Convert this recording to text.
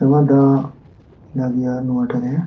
ᱱᱚᱣᱟ ᱫᱟᱜ ᱢᱮᱱᱟᱜ ᱜᱤᱭᱟ ᱱᱚᱣᱟ ᱴᱟᱜ ᱨᱮ᱾